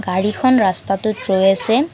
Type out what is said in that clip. গাড়ীখন ৰষ্টাটোত ৰৈ আছে।